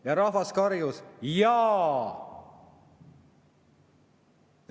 Ja rahvas karjus: "Jaa!